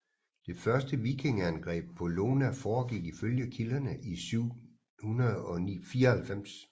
Det første vikingeangreb på Iona forgik ifølge kilderne i 794